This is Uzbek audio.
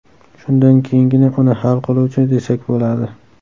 Shundan keyingina uni hal qiluvchi desak bo‘ladi.